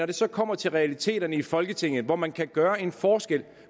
det kommer til realiteterne i folketinget hvor man kan gøre en forskel og